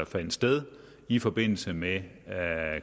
fandt sted i forbindelse med